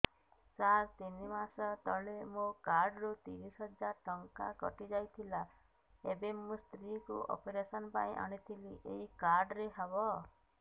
ସାର ତିନି ମାସ ତଳେ ମୋ କାର୍ଡ ରୁ ତିରିଶ ହଜାର ଟଙ୍କା କଟିଯାଇଥିଲା ଏବେ ମୋ ସ୍ତ୍ରୀ କୁ ଅପେରସନ ପାଇଁ ଆଣିଥିଲି ଏଇ କାର୍ଡ ରେ ହବ